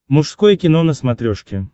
мужское кино на смотрешке